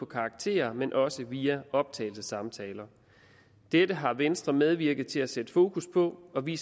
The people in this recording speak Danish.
karakterer men også via optagelsessamtaler dette har venstre medvirket til at sætte fokus på og vi